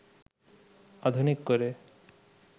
আধুনিক করে